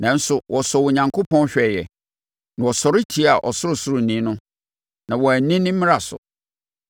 Nanso wɔsɔɔ Onyankopɔn hwɛeɛ na wɔsɔre tiaa Ɔsorosoroni no; na wɔanni ne mmara so.